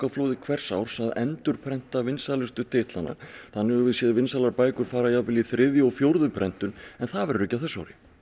hvers árs að endurprenta vinsælustu titlana þannig höfum við séð vinsælustu bækurnar fara jafnvel í þriðju og fjórðu prentun en það verður ekki á þessu ári